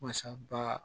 Wasa ba